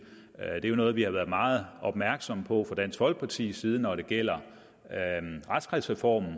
er jo noget vi har været meget opmærksomme på fra dansk folkepartis side når det gælder retskredsreformen